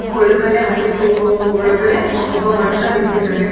ಒಳಗಡೆ ಅಂಗ್ಡಿಗೋಗೋ ಒಳಗಡೆ ಒಬ್ಬ ಮನುಷ್ಯ ನಿಂತಿದ್ದಾನೆ.